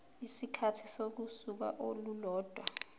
isikhathi sosuku olulodwa